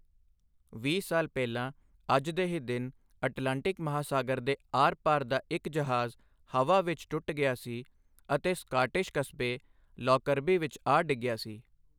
ਵੀਹ ਸਾਲ ਪਹਿਲਾਂ ਅੱਜ ਦੇ ਹੀ ਦਿਨ ਅਟਲਾਂਟਿਕ ਮਹਾਸਾਗਰ ਦੇ ਆਰ ਪਾਰ ਦਾ ਇੱਕ ਜਹਾਜ਼ ਹਵਾ ਵਿੱਚ ਟੁੱਟ ਗਿਆ ਸੀ ਅਤੇ ਸਕਾਟਿਸ਼ ਕਸਬੇ ਲੌਕਰਬੀ ਵਿੱਚ ਆ ਡਿੱਗਿਆ ਸੀ।